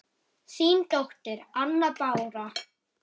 Þín dóttir, Anna Bára.